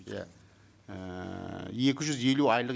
иә ііі екі жүз елу айлық